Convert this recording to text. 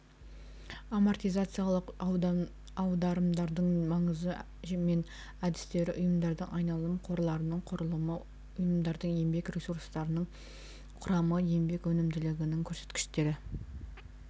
амотизациялық аударымдардың маңызы мен әдістері ұйымдардың айналым қорларының құрамы ұйымдардың еңбек ресурстарының құрамы еңбек өнімділігінің көрсеткіштері